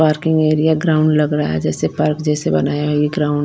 parking area ground लग रहा है जैसे पार्क जैसे बनाया ये ग्राउंड --